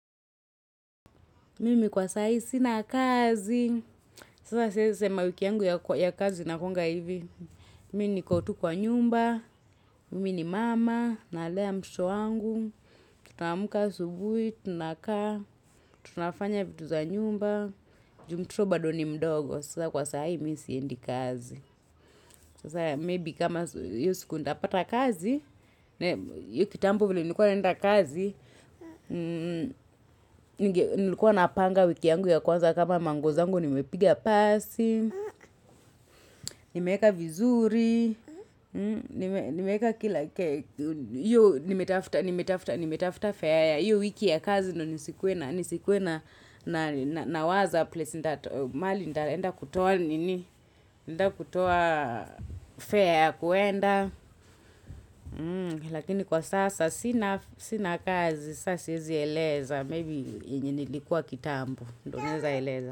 Mimi kwa sahi sina kazi. Sasa siwezi sema wiki yangu ya kazi inakuanga hivi. Mimi niko tu kwa nyumba. Mimi ni mama. Nalea mtoto wangu. Tutaamuka asubuhi. Tunakaa. Tunafanya vitu za nyumba. Ju mtoto bado ni mdogo. Sasa kwa saa hii mimi siendi kazi. Sasa maybe kama hiyo siku nitapata kazi. Hiyo kitambo vile nilikuwa naenda kazi. Nilikuwa napanga wiki yangu ya kwanza kama manguo zangu nimepiga pasi nimeeka vizuri nimeeka kila hiyo nimetafuta nimetafuta fare ya hiyo wiki ya kazi ndo nisikuwe na nisikuwe na nawaza mahali nitaenda kutoa nini naenda kutoa fare ya kuenda lakini kwa sasa sina kazi sasa siezi eleza Maybe yenye nilikuwa kitambo ndo naeza eleza.